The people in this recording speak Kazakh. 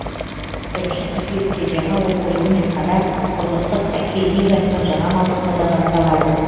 бірінші қыркүйекте жаңа оқу жылымен қатар құрлықтық хоккей лигасының жаңа маусымы да басталады